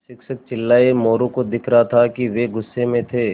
शिक्षक चिल्लाये मोरू को दिख रहा था कि वे गुस्से में थे